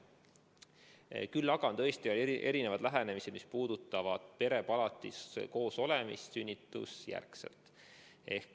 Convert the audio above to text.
Küll aga on tõesti erinevad lähenemised, mis puudutavad perepalatis koos olemist sünnitusjärgselt.